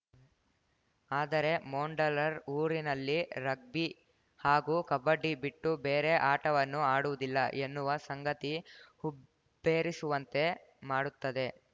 ಆದರೆ ಮೊಂಡಲ್‌ರ ಊರಿನಲ್ಲಿ ರಗ್ಬಿ ಹಾಗೂ ಕಬಡ್ಡಿ ಬಿಟ್ಟು ಬೇರೆ ಆಟವನ್ನು ಆಡುವುದಿಲ್ಲ ಎನ್ನುವ ಸಂಗತಿ ಹುಬ್ಬೇರಿಸುವಂತೆ ಮಾಡುತ್ತದೆ